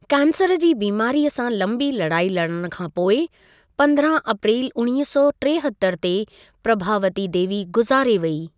Cancer जी बीमारीअ सां लंबी लड़ाई लड़णि खां पोइ, पंद्रहां अप्रैल उणिवींह सौ टेहतर ते प्रभावती देवी गुज़ारे वेई।